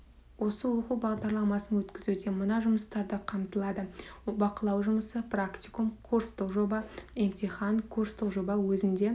осы оқу бағдарламасын өткізуде мына жұмыстарды қамтылады бақылау жұмысы практикум курстық жоба емтихан курстық жоба өзінде